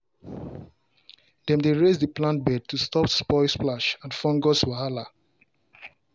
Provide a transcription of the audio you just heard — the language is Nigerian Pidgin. dem dey raise the plant bed to stop soil splash and fungus wahala